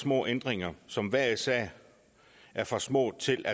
småændringer som hver især er for små til